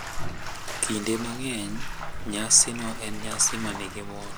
Kinde mang’eny, nyasino en nyasi ma nigi mor